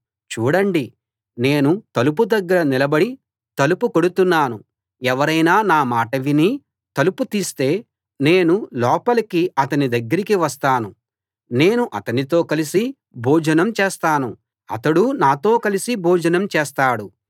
చూడండి నేను తలుపు దగ్గర నిలబడి తలుపు కొడుతున్నాను ఎవరైనా నా మాట విని తలుపు తీస్తే నేను లోపలికి అతని దగ్గరికి వస్తాను నేను అతనితో కలసి భోజనం చేస్తాను అతడూ నాతో కలసి భోజనం చేస్తాడు